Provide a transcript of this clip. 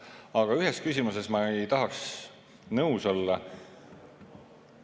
Aga ühes küsimuses ma ei tahaks nõus olla.